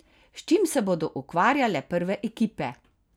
S čim se bodo ukvarjale prve ekipe?